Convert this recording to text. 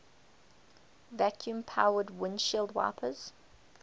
vacuum powered windshield wipers